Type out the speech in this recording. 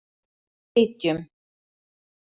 Fitjum